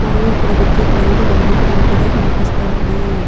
మరియు ఇక్కడ విద్యుత్ లైట్ వేలుగుతున్నట్లుగా కనిపిస్తోంది.